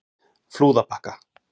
Flúðabakka